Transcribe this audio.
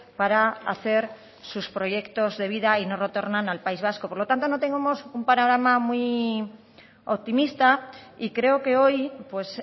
para hacer sus proyectos de vida y no retornan al país vasco por lo tanto no tenemos un panorama muy optimista y creo que hoy pues